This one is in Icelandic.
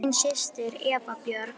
Þín systir, Eva Björg.